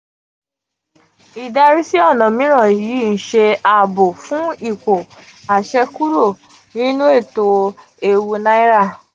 idari si ona miran yi n se aabo fun ipo ase kuro ninu eto eewu naira